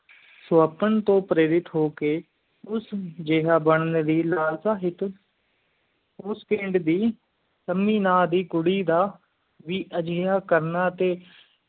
ਸ੍ਵਪ੍ਨ ਤੂੰ ਪ੍ਰੀਵਿਤ ਹੋ ਕ ਉਸ ਜੇਹਾ ਬਣਨ ਦੀ ਲਾਲਚ ਵਿਚ ਉਸ ਪਿੰਡ ਦੀ ਸੰਮੀ ਨਾ ਦੀ ਕੁੜੀ ਦਾ ਵੀ ਅਜਿਹਾ ਕਰਨਾ